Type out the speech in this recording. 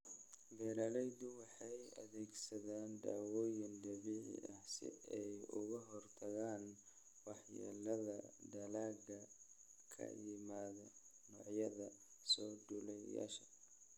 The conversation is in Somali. Beeraleydu waxay adeegsadaan dawooyin dabiici ah si ay uga hortagaan waxyeelada dalagga ka yimaada noocyada soo duulayaasha.